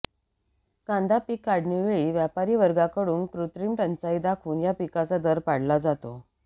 कांदा पीक काढणीवेळी व्यापारीवर्गाकडून कृत्रिम टंचाई दाखवून या पिकाचा दर पाडला जातो